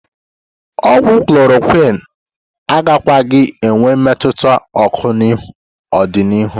Ogwu klorokwin agakwaghị enwe mmetụta oko n'ọdịniihu.